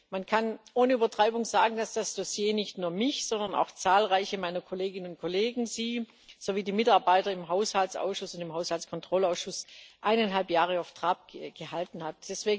Man kann ohne Übertreibung sagen, dass das Dossier nicht nur mich, sondern auch zahlreiche meiner Kolleginnen und Kollegen, Sie sowie die Mitarbeiter im Haushaltsausschuss und im Haushaltskontrollausschuss eineinhalb Jahre auf Trab gehalten hat.